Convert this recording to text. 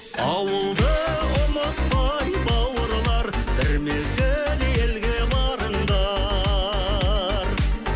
ауылды ұмытпай бауырлар бір мезгіл елге барыңдар